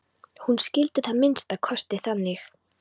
Hún skildi það að minnsta kosti þannig.